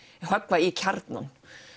höggva í kjarnann